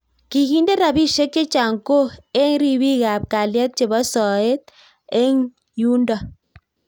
Kikindee rapisiek chechang Koo eng ripik ap kalyet chepo soet eng yundok